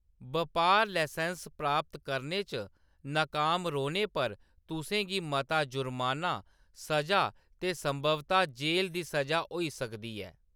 बपार लसैंस्स प्राप्त करने च नकाम रौह्‌‌‌ने पर तुसें गी मता जुर्माना, स'जा ते संभवतः जेह्‌‌‌ल दी सʼजा होई सकदी ऐ।